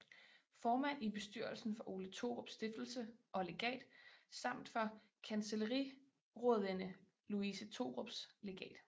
Formand i bestyrelsen for Ole Thorups Stiftelse og Legat samt for Kancelliraadinde Louise Thorups Legat